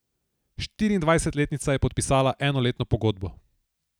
Štiriindvajsetletnica je podpisala enoletno pogodbo.